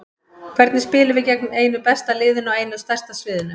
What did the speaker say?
Hvernig spilum við gegn einu besta liðinu á einu stærsta sviðinu?